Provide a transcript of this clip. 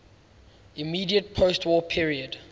immediate postwar period